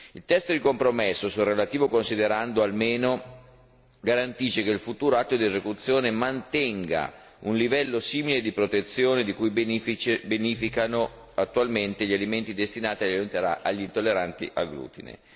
Il testo di compromesso sul relativo considerando almeno garantisce che il futuro atto di esecuzione mantenga un livello simile di protezione di cui beneficano attualmente gli alimenti destinati agli intolleranti al glutine.